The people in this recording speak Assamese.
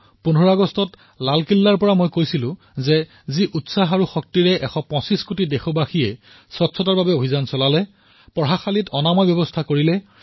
১৫ আগষ্টত লালকিল্লাৰ পৰা মই কৈছিলো যে যি উৎসাহ শক্তিৰ সৈতে এশ পঁচিশ কোটি দেশবাসীয়ে স্বচ্ছতাৰ বাবে অভিযান চলালে মুক্ত স্থানত শৌচৰ মুক্তিৰ বাবে কাম কৰিলে